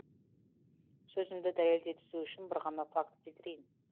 сөзімді дәлелдей түсу үшін бір ғана факт келтірейін